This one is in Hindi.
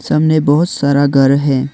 सामने बहुत सारा घर है।